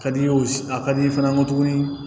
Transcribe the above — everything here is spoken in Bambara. Ka di i ye a ka di i ye fana n ko tuguni